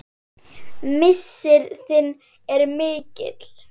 Missir þinn er mikill.